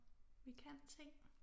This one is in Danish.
Vi kan ting